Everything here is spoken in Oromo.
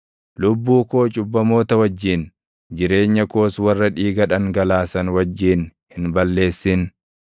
Lubbuu koo cubbamoota wajjin, jireenya koos warra dhiiga dhangalaasan wajjin hin balleessin;